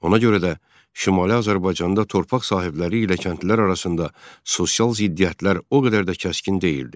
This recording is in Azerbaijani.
Ona görə də Şimali Azərbaycanda torpaq sahibləri ilə kəndlilər arasında sosial ziddiyyətlər o qədər də kəskin deyildi.